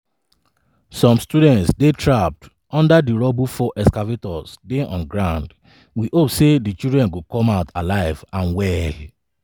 some students dey trapped under di rubble four excavators dey on ground we hope say di children go come out alive and well."